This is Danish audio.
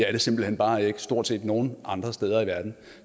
er det simpelt hen bare ikke stort set nogen andre steder i verden